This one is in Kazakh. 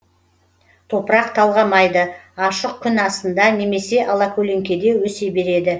топырақ талғамайды ашық күн астында немесе алакөлеңкеде өсе береді